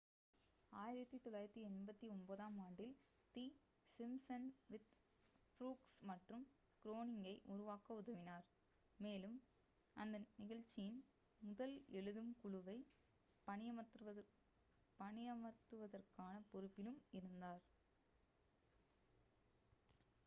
1989-ஆம் ஆண்டில் the Simpsons with Brooks மற்றும் க்ரோனிங்கை உருவாக்க உதவினார் மேலும் அந்நிகழ்ச்சியின் முதல் எழுதும் குழுவை பணியமர்த்துவதற்கான பொறுப்பிலும் இருந்தார்